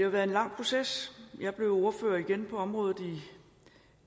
været en lang proces jeg blev ordfører igen på området i